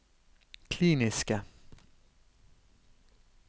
kliniske